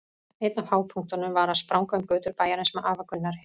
Einn af hápunktunum var að spranga um götur bæjarins með afa Gunnari.